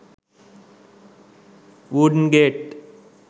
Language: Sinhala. wooden gate